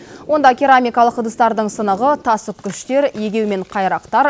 онда керамикалық ыдыстардың сынығы тас үккіштер егеу мен қайрақтар